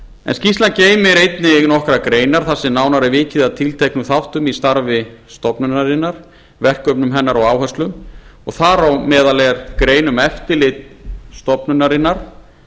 en skýrslan geymir einnig nokkrar greinar þar sem nánar er vikið að tilteknum þáttum í starfi stofnunarinnar verkefnum hennar og áherslum og þar á meðal er grein um eftirlit stofnunarinnar